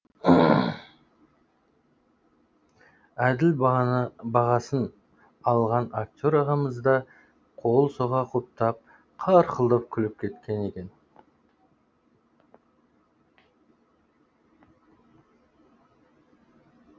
әділ бағасын алған актер ағамыз да қол соға құптап қарқылдап күліп кеткен екен